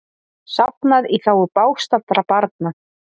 Safnað í þágu bágstaddra barna